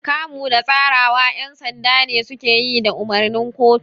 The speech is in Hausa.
Kamu da tsarewa ƴan sanda ne suke yi da umarnin kotu.